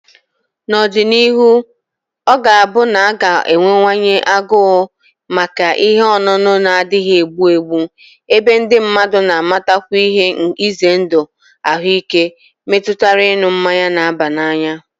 N'ọdịnihu, ọ ga-abụ na a ga-enwewanye agụụ maka ihe ọṅụṅụ na-adịghị egbu egbu, ebe ndị mmadụ na-amatakwu ihe ize ndụ ahụike metụtara ịṅụ mmanya na-aba n'anya